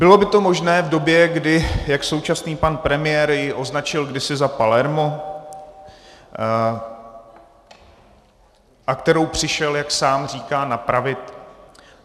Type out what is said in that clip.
Bylo by to možné v době, kdy, jak současný pan premiér ji označil kdysi za Palermo a kterou přišel, jak sám říká, napravit?